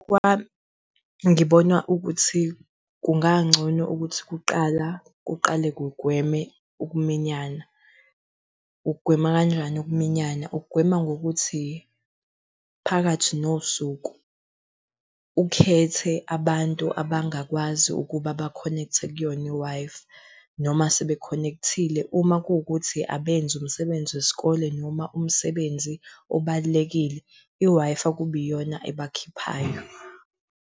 Ngokubona kwami, ngibona ukuthi kungangcono ukuthi kuqala, kuqale kugweme ukuminyana. Ukugwema kanjani ukuminyana? Ukugwema ngokuthi phakathi nosuku ukhethe abantu abangakwazi ukuba bakhonekthe kuyona i-Wi-Fi, noma sebekhonekthile uma kuwukuthi abenzi umsebenzi wesikole noma umsebenzi obalulekile, i-Wi-Fi kube iyona ebakhiphayo.